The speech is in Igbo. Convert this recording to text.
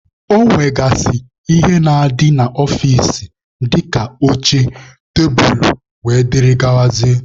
Ọ nwegasịrị ihe na-adị n'ọfịcị dịka oche, tebulu wdg.